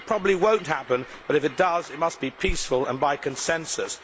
It probably will not happen but, if it does, it must be peaceful and by consensus.